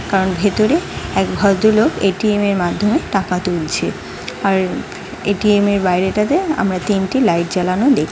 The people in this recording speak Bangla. তার ভেতরে এক ভদ্রলোক এ.টি.এম -এর মাধ্যমে টাকা তুলছে । আর এ.টি.এম -এর বাইরে টা তে আমরা তিনটি লাইট জ্বালানো দেখ --